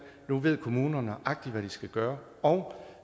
nu ved kommunerne nøjagtig hvad de skal gøre og